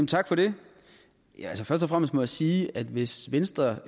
tak for det først og fremmest må jeg sige at hvis venstre